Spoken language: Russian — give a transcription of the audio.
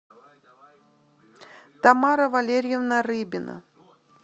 тамара валерьевна рыбина